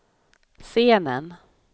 scenen